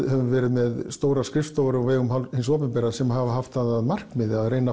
höfum verið með stórar skrifstofur af hálfu hins opinbera sem hafa haft það að markmiði að